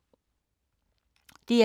DR2